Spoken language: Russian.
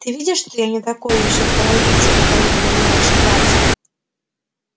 ты видишь что я не такой ещё кровопийца как говорит обо мне ваша братия